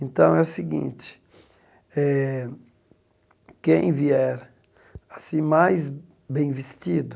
Então, é o seguinte, eh quem vier assim mais bem vestido,